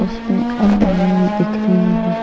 इसमें आदमी भी दिख रही है।